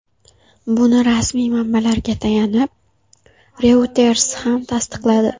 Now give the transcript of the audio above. Buni rasmiy manbalarga tayanib, Reuters ham tasdiqladi.